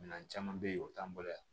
Minɛn caman bɛ yen o t'an bolo yan